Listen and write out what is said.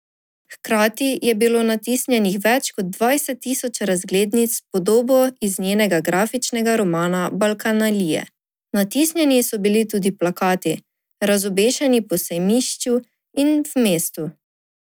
Hkrati je bilo natisnjenih več kot dvajset tisoč razglednic s podobo iz njenega grafičnega romana Balkanalije, natisnjeni so bili tudi plakati, razobešeni po sejmišču in v mestu.